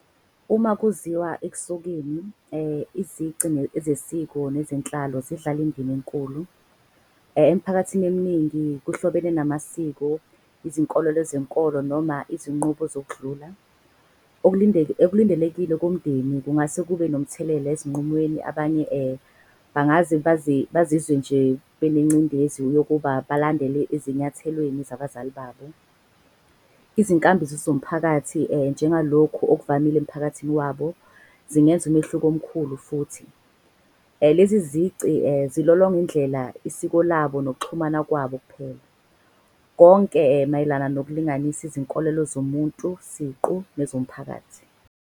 Uma kuziwa ekusukeni izici zesiko nezenhlalo zidlala indima enkulu. Emphakathini eminingi kuhlobene namasiko, izinkololo zenkolo noma izinqubo zokudlula. Okulindelekile komndeni kungase kube nomthelela ezinqumweni. Abanye bangaze bazizwe nje benengcindezi yokuba balandele ezinyathelweni zabazali babo. Izinkambiso zomphakathi njengalokhu okuvamile emphakathini wabo, zingenza umehluko omkhulu futhi. Lezi zici zilolonga indlela isiko labo nokuxhumana kwabo kuphela. Konke mayelana ngokulinganisa izinkolelo zomuntu siqu nezomphakathi.